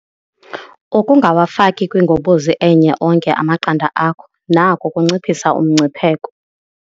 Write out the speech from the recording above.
Ukungawafaki kwingobozi enye onke amaqanda akho nako kunciphisa umngcipheko.